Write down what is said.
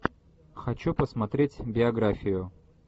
хочу посмотреть биографию